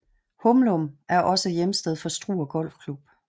Humlum er også hjemsted for Struer Golfklub